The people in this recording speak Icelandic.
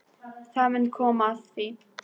Það mun koma að því.